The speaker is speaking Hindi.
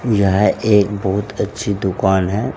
यह एक बहुत अच्छी दुकान है।